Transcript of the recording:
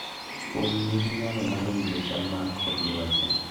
Winy nigi nyalo mar winjo chal mar kor lwasi.